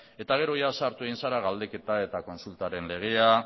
eta gero sartu egin zara galdeketa eta kontsultaren legea